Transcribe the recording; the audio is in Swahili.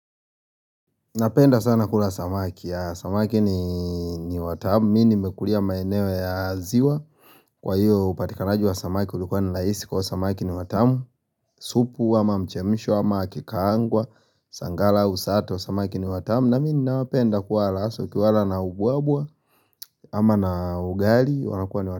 Napenda sana kula samaki. Samaki ni watamu, mi nimekulia maeneo ya ziwa Kwa hiyo upatikanaji wa samaki ulikuwa ni rahisi kwa hio samaki ni watamu supu, ama mchemsho, ama akikaangwa, sangala usato, samaki ni watamu na mi ninapenda kuwaala hasa ukiwaala na ubwabwa, ama na ugali, wanakua ni watamu.